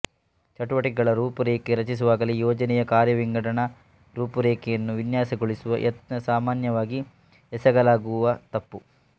ಚಟುವಟಿಕೆಗಳ ರೂಪುರೇಖೆ ರಚಿಸುವಾಗಲೇ ಯೋಜನೆಯ ಕಾರ್ಯವಿಂಗಡಣಾ ರೂಪುರೇಖೆಯನ್ನು ವಿನ್ಯಾಸಗೊಳಿಸುವ ಯತ್ನ ಸಾಮಾನ್ಯವಾಗಿ ಎಸಗಲಾಗುವ ತಪ್ಪು